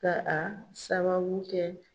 Ka a sababu kɛ